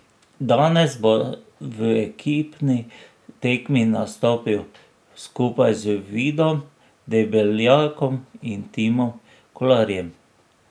Danes bo v ekipni tekmi nastopil skupaj z Vidom Debeljakom in Timom Kolarjem.